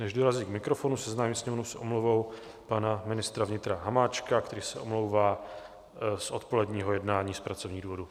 Než dorazí k mikrofonu, seznámím Sněmovnu s omluvou pana ministra vnitra Hamáčka, který se omlouvá z odpoledního jednání z pracovních důvodů.